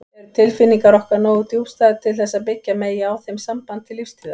Eru tilfinningar okkar nógu djúpstæðar til þess að byggja megi á þeim samband til lífstíðar?